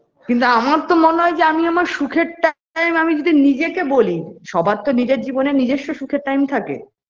কিন্তু আমার তো মনে হয় যে আমি আমার সুখের time আমি যদি নিজেকে বলি সবার তো নিজের জীবনে নিজস্ব সুখের time থাকে